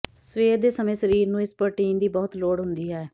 ਸਵੇਰੇ ਦੇ ਸਮੇਂ ਸਰੀਰ ਨੂੰ ਇਸ ਪ੍ਰੋਟੀਨ ਦੀ ਬਹੁਤ ਲੋੜ ਹੁੰਦੀ ਹੈ